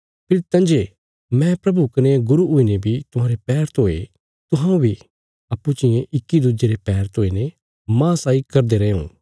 फेरी तंजे मैं प्रभु कने गुरू हुईने बी तुहांरे पैर धोए तुहां बी अप्पूँ चियें इक्की दुज्जे रे पैर धोईने माह साई करदे रैयों